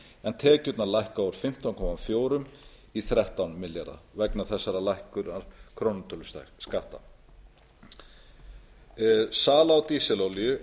en tekjurnar lækka úr fimmtán komma fjórum milljörðum króna í þrettán komma núll milljarða króna vegna þessarar lækkunar krónutöluskatta sala á dísilolíu